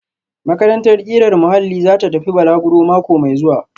Makarantar ƙirar muhalli za ta tafi balaguro mako mai zuwa